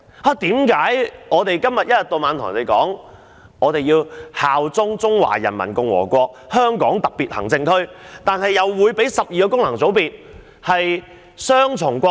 為何政府一天到晚要人效忠中華人民共和國香港特別行政區，但又准許12個功能界別的成員擁有雙重國籍？